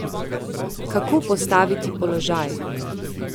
Kako postaviti položaj ...